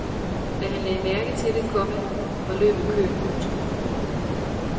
Da han lagde mærke til det, komma var løbet kørt. punktum